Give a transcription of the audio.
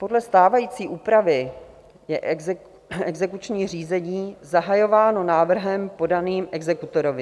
Podle stávající úpravy je exekuční řízení zahajováno návrhem podaným exekutorovi.